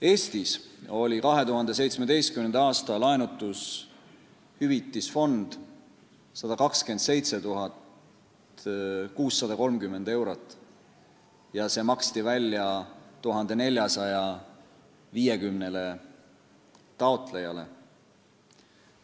Eestis oli 2017. aasta laenutushüvitisfond 127 630 eurot ja see maksti välja 1450 taotlejale.